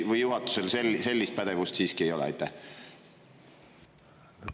Või juhatusel sellist pädevust ei ole?